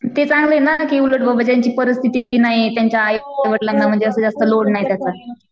ते चांगले ना की उलट बाबा ज्यांची परिस्थिती नाहीये त्यांच्या आईवडलांना म्हणजे असं जास्त लोड नाही त्याचा.